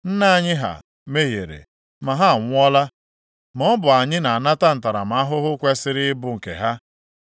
Nna anyị ha mehiere, ma ha anwụọla. Ma ọ bụ anyị na-anata ntaramahụhụ kwesiri ịbụ nke ha.